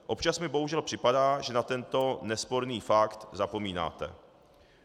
Občas mi bohužel připadá, že na tento nesporný fakt zapomínáte.